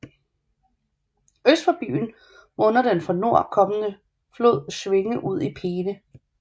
Øst for byen munder den fra nord kommende flod Schwinge ud i Peene